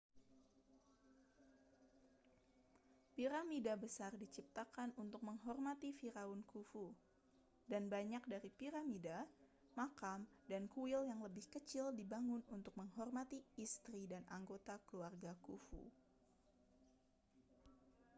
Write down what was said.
piramida besar diciptakan untuk menghormati firaun khufu dan banyak dari piramida makam dan kuil yang lebih kecil dibangun untuk menghormati istri dan anggota keluarga khufu